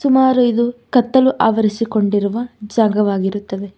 ಸುಮಾರು ಇದು ಕತ್ತಲು ಅವರಿಸಿಕೊಂಡಿರುವ ಜಾಗವಾಗಿರುತ್ತದೆ.